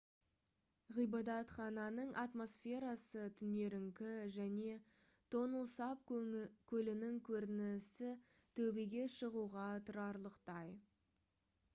ғибадатхананың атмосферасы түнеріңкі және тонл сап көлінің көрінісі төбеге шығуға тұрарлықтай